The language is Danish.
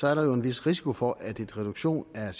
er der jo en vis risiko for at en reduktion af